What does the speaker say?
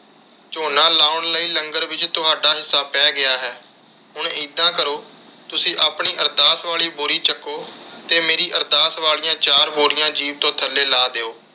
ਝੋਨਾ ਲਾਉਣ ਲਈ ਲੰਗਰ ਵਿਚ ਤੁਹਾਡਾ ਹਿੱਸਾ ਪੈ ਗਿਆ ਹੈ। ਹੁਣ ਇੱਦਾਂ ਕਰੋ ਤੁਸੀਂ ਆਪਣੀ ਅਰਦਾਸ ਵਾਲੀ ਬੋਰੀ ਚੱਕੋ ਤੇ ਮੇਰੀ ਅਰਦਾਸ ਵਾਲੀਆਂ ਚਾਰ ਬੋਰੀਆਂ ਜੀਪ ਤੋਂ ਥੱਲੇ ਲਾਹ ਦਿਓ।